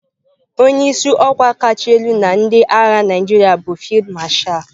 Onye isi ọkwa kacha elu na ndị agha Naijiria bụ Field Marshal.